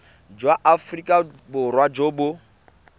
jwa aforika borwa jo bo